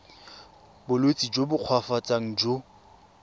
bolwetsi jo bo koafatsang jo